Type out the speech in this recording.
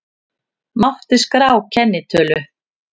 Mátti skrá kennitölu